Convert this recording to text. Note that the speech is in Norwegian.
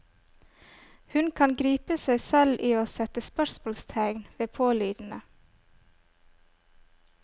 Hun kan gripe seg selv i å sette spørsmålstegn ved pålydende.